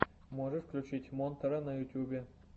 можешь включить монтера на ютубе